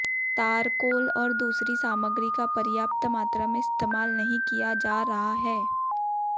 तारकोल और दूसरी सामग्री का पर्याप्त मात्रा में इस्तेमाल नहीं किया जा रहा है